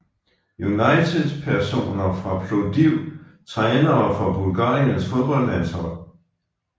United Personer fra Plovdiv Trænere for Bulgariens fodboldlandshold